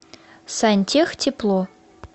сантехтепло